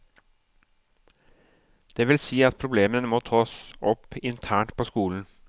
Det vil si at problemene må tas opp internt på skolen.